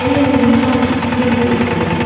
Elə yorulmuşam ki, yemək də istəmirəm.